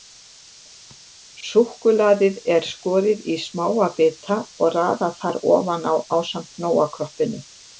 Súkkulaðið er skorið í smáa bita og raðað þar ofan á ásamt Nóa-kroppinu.